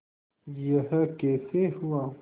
यह कैसे हुआ